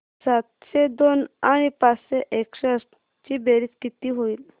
सातशे दोन आणि पाचशे एकसष्ट ची बेरीज किती होईल